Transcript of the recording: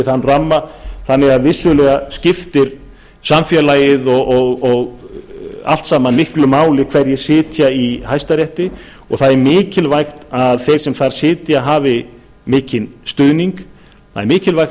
þann ramma þannig að vissulega skiptir samfélagið allt saman miklu máli hverjir sitja í hæstarétti og það er mikilvægt að þeir sem þar sitja hafi mikinn stuðning það er mikilvægt